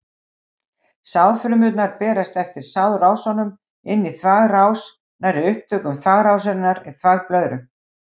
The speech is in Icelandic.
Sáðfrumurnar berast eftir sáðrásunum inn í þvagrás, nærri upptökum þvagrásarinnar í þvagblöðru.